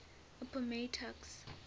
appomattox